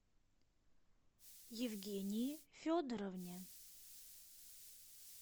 евгении федоровне